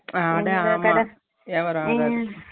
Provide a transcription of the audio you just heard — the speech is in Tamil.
அட ஆமா Noise வியாபரம் ஆகாது